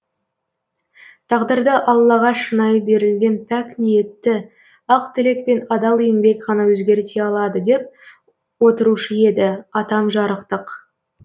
тағдырды аллаға шынайы берілген пәк ниетті ақ тілек пен адал еңбек ғана өзгерте алады деп отырыушы еді атам жарықтық